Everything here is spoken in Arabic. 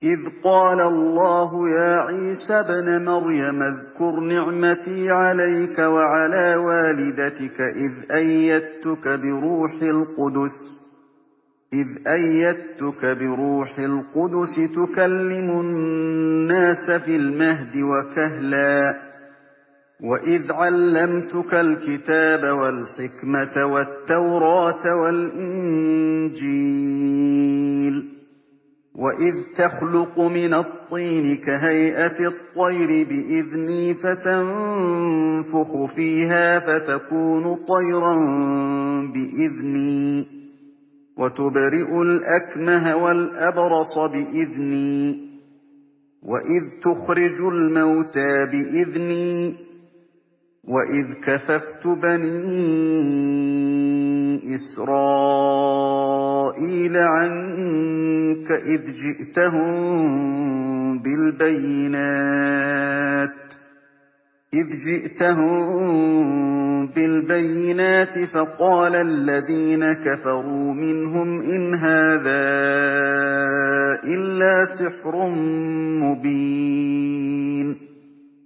إِذْ قَالَ اللَّهُ يَا عِيسَى ابْنَ مَرْيَمَ اذْكُرْ نِعْمَتِي عَلَيْكَ وَعَلَىٰ وَالِدَتِكَ إِذْ أَيَّدتُّكَ بِرُوحِ الْقُدُسِ تُكَلِّمُ النَّاسَ فِي الْمَهْدِ وَكَهْلًا ۖ وَإِذْ عَلَّمْتُكَ الْكِتَابَ وَالْحِكْمَةَ وَالتَّوْرَاةَ وَالْإِنجِيلَ ۖ وَإِذْ تَخْلُقُ مِنَ الطِّينِ كَهَيْئَةِ الطَّيْرِ بِإِذْنِي فَتَنفُخُ فِيهَا فَتَكُونُ طَيْرًا بِإِذْنِي ۖ وَتُبْرِئُ الْأَكْمَهَ وَالْأَبْرَصَ بِإِذْنِي ۖ وَإِذْ تُخْرِجُ الْمَوْتَىٰ بِإِذْنِي ۖ وَإِذْ كَفَفْتُ بَنِي إِسْرَائِيلَ عَنكَ إِذْ جِئْتَهُم بِالْبَيِّنَاتِ فَقَالَ الَّذِينَ كَفَرُوا مِنْهُمْ إِنْ هَٰذَا إِلَّا سِحْرٌ مُّبِينٌ